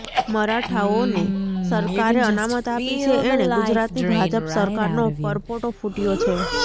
મરાઠાઓને સરકારે અનામત આપી છે એણે ગુજરાતની ભાજપ સરકારનો પરપોટો ફૂટ્યો છે